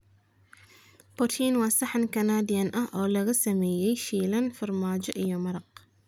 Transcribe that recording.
Poutine waa saxan Canadian ah oo lagu sameeyay shiilan, farmaajo iyo maraq.